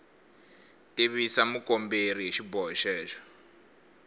tivisa mukomberi hi xiboho xexo